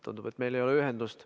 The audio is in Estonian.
Tundub, et meil ei ole ühendust.